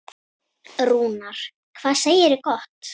Rúnar, hvað segirðu gott?